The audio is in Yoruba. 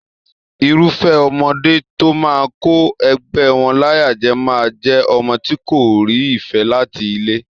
Irufẹ ọmọdé tó máa kó ẹgbẹ wọn láyà jẹ máa n jẹ ọmọ tí kò rí ìfẹ láti ilé.